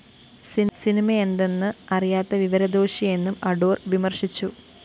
സിനിമയെന്തെന്ന് അറിയാത്ത വിവരദോഷിയെന്നും അടൂര്‍ വിമര്‍ശിച്ചു